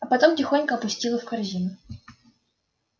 а потом тихонько опустила в корзину